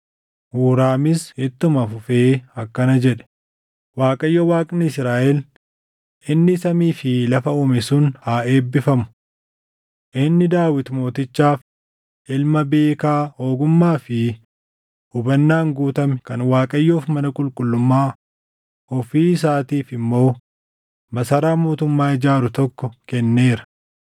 Huuraamis ittuma fufee akkana jedhe: “ Waaqayyo Waaqni Israaʼel inni samii fi lafa uume sun haa eebbifamu! Inni Daawit mootichaaf ilma beekaa ogummaa fi hubannaan guutame kan Waaqayyoof mana qulqullummaa, ofii isaatiif immoo masaraa mootummaa ijaaru tokko kenneera.